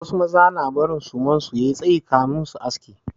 Wasu maza na barin suman su ya yi tsayi kafin su aske.